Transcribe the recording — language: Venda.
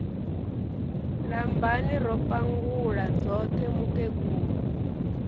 lambani ro pangula dzoṱhe mukegulu